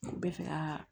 N bɛ fɛ ka